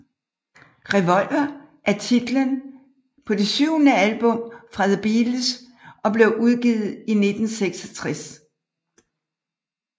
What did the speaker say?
Revolver er titlen på det syvende album fra The Beatles og blev udgivet i 1966